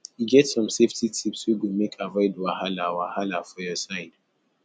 e get some safety tips wey go make avoid wahala wahala for your side